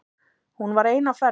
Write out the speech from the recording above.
Hún var ein á ferð.